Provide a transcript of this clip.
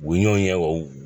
U ɲɔgɔn ye u